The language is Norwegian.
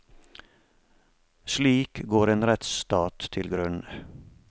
Slik går en rettsstat til grunne.